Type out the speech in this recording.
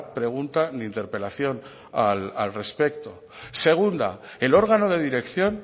pregunta ni interpelación al respecto segunda el órgano de dirección